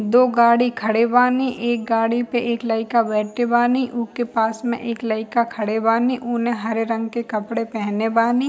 दो गाड़ी खड़े बानी। एक गाड़ी पे एक लइका बेठे बानी। उके पास में एक लइका खड़े बानी। उने हरे रंग के कपड़े पहने बानी।